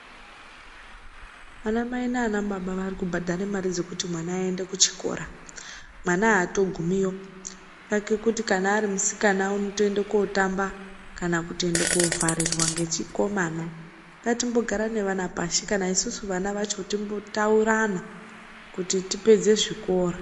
Ana mai nana baba Ari kubhadhara Mari dzekuti vana vaende kuchikora mwana atogumiyo chake kuti kana Ari musikana anotoenda kundotamba kana kuenda kovharirwa nechikomana ngatimbogara nevana pashi kana isusu vana vacho timbotaurana kuti tipedze zvikora.